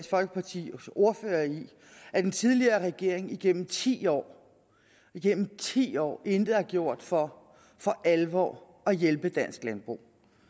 folkepartis ordfører i at den tidligere regering igennem ti år igennem ti år intet har gjort for for alvor at hjælpe dansk landbrug